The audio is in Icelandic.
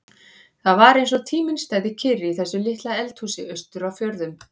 Það var eins og tíminn stæði kyrr í þessu litla eldhúsi austur á fjörðum.